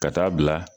Ka taa bila